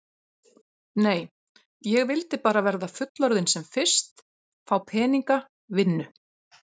Nei, ég vildi bara verða fullorðin sem fyrst, fá peninga, vinnu.